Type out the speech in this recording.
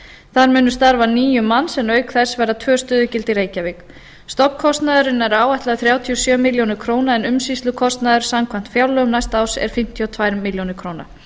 þar munu starfa níu manns en að auki verða tvö stöðugildi í reykjavík stofnkostnaður er áætlaður þrjátíu og sjö milljónir króna en umsýslukostnaður samkvæmt fjárlögum næsta árs er fimmtíu og tvær milljónir króna